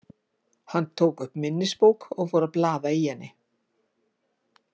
Hann tók upp minnisbók og fór að blaða í henni.